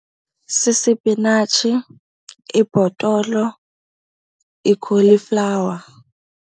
Sisipinatshi, ibhotolo, ikholiflawa.